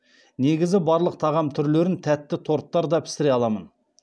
негізі барлық тағам түрлерін тәтті торттар да пісіре аламын